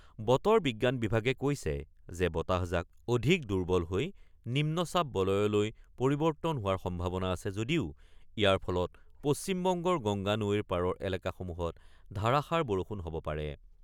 বতৰ বিজ্ঞান বিভাগে কৈছে যে বতাহজাক অধিক দুৰ্বল হৈ নিম্নচাপ বলয়লৈ পৰিৱৰ্তন হোৱাৰ সম্ভাৱনা আছে যদিও ইয়াৰ ফলত পশ্চিমবংগৰ গংগা নৈৰ পাৰৰ এলেকাসমূহত ধাৰাসাৰ বৰষুণ হ'ব পাৰে।